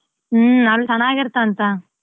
ಹ್ಮ್ ಅಲ್ಲಿ ಚೆನ್ನಾಗಿರ್ತಾವ್ ಅಂತ.